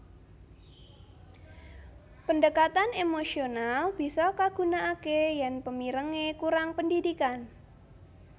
Pendekatan emosional bisa kagunakake yen pemirenge kurang pendidikan